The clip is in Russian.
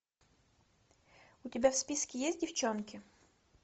у тебя в списке есть девчонки